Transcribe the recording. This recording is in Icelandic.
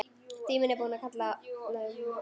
Tíminn er búinn kallaði Magga.